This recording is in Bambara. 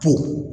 Pe